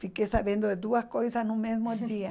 Fiquei sabendo de duas coisas no mesmo dia.